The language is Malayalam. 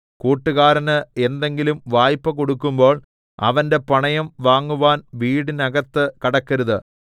കൂട്ടുകാരന് എന്തെങ്കിലും വായ്പ്പ കൊടുക്കുമ്പോൾ അവന്റെ പണയം വാങ്ങുവാൻ വീടിനകത്തു കടക്കരുത്